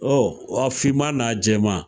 a fiman n'a jɛman